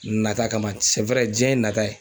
Nata kama. jiɲɛ ye nata ye